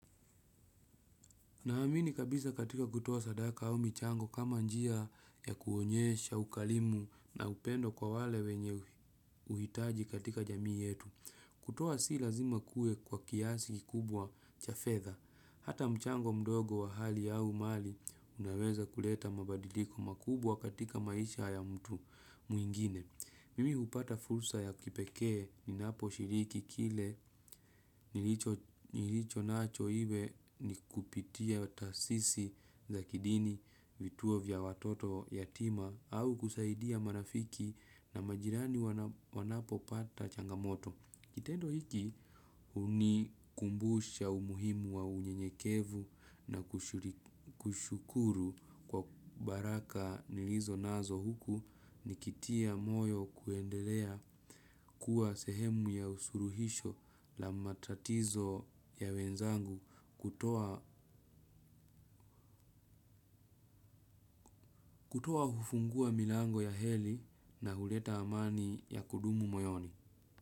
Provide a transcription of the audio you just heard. Naamini kabisa katika kutoa sadaka au michango kama njia ya kuonyesha, ukarimu na upendo kwa wale wenye uhitaji katika jamii yetu. Kutoa si lazima kuwe kwa kiasi kikubwa cha fedha. Hata mchango mdogo wa hali au mali unaweza kuleta mabadiliko makubwa katika maisha ya mtu mwingine. Mimi hupata fursa ya kipekee ninapo shiriki kile nilicho nacho iwe ni kupitia taasisi za kidini vituo vya watoto yatima au kusaidia marafiki na majirani wanapo pata changamoto. Kitendo hiki hunikumbusha umuhimu wa unyenyekevu na kushukuru kwa baraka nilizo nazo huku nikitia moyo kuendelea kuwa sehemu ya suluhisho la matatizo ya wenzangu kutoa hufungua milango ya heri na huleta amani ya kudumu moyoni.